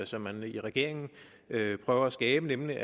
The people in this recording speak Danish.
som man i regeringen prøver at skabe nemlig